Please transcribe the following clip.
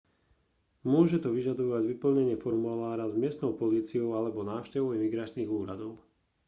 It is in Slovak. môže to vyžadovať vyplnenie formulára s miestnou políciou alebo návštevu imigračných úradov